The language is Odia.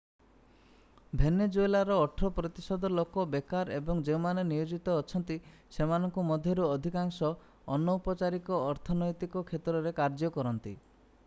ଭେନେଜୁଏଲାର 18 ପ୍ରତିଶତ ଲୋକ ବେକାର ଏବଂ ଯେଉଁମାନେ ନିୟୋଜିତ ଅଛନ୍ତି ସେମାନଙ୍କ ମଧ୍ୟରୁ ଅଧିକାଂଶ ଅନୌପଚାରିକ ଅର୍ଥନୈତିକ କ୍ଷେତ୍ରରେ କାର୍ଯ୍ୟ କରନ୍ତି